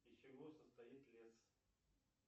из чего состоит лес